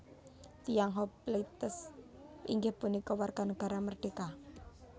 Tiyang hoplites inggih punika warga nagara merdeka